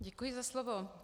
Děkuji za slovo.